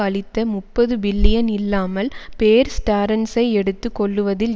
அளித்த முப்பது பில்லியன் இல்லாமல் பேர் ஸ்டேரன்ஸை எடுத்து கொள்ளுவதில்